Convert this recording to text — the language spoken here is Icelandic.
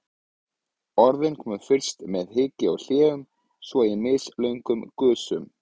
Orðin komu fyrst með hiki og hléum, svo í mislöngum gusum.